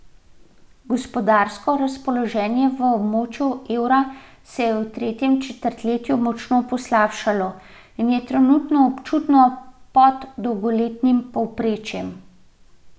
Gospodarsko razpoloženje v območju evra se je v tretjem četrtletju močno poslabšalo in je trenutno občutno pod dolgoletnim povprečjem.